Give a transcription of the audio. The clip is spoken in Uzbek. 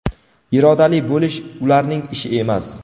irodali bo‘lish ularning ishi emas!.